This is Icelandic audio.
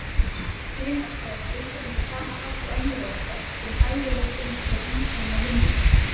Kynorka er skilgreind á sama hátt og önnur orka, sem hæfileikinn til að framkvæma vinnu.